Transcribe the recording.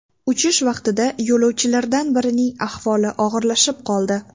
Uchish vaqtida yo‘lovchilardan birining ahvoli og‘irlashib qoldi.